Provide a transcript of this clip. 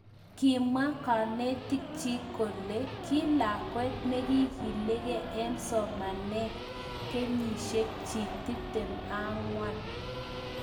Kimwa kanetik chik kole ki lakwet nekikilikei eng somanetbeng kenyishek chik 24.